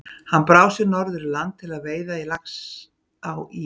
Hann brá sér norður í land til veiða í Laxá í